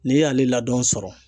N'i y'ale ladɔn sɔrɔ